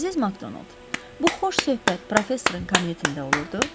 Əziz Makdonald, bu xoş söhbət professorun kabinetində olurdu?